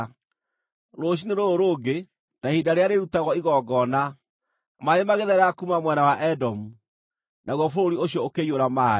Rũciinĩ rũrũ rũngĩ, ta ihinda rĩrĩa rĩrutagwo igongona, maaĩ magĩtherera kuuma mwena wa Edomu! Naguo bũrũri ũcio ũkĩiyũra maaĩ.